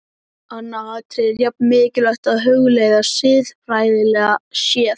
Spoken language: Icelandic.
Annað atriði er jafn mikilvægt að hugleiða, siðfræðilega séð.